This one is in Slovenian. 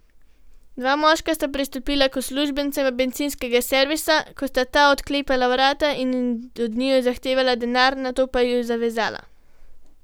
Dva moška sta pristopila k uslužbencema bencinskega servisa, ko sta ta odklepala vrata, od njiju zahtevala denar, nato pa ju zvezala.